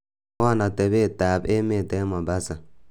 mwowon otebet ab emet en mombasa